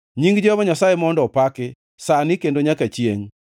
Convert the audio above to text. Nying Jehova Nyasaye mondo opaki, sani kendo nyaka chiengʼ.